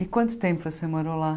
E quanto tempo você morou lá?